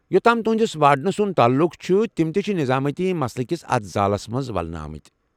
یوٚت تام تُہٕنٛدس وارڈن سُنٛد تعلُق چھُ ، تِم تہِ چھِ نظٲمٲتی مسلہِ کس اتھ زالس منٛز ولنہٕ آمٕتۍ ۔